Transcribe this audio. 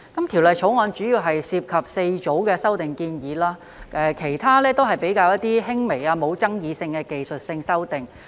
《條例草案》主要涉及4組的修訂建議，其他均是比較輕微、不具爭議性的技術性修訂。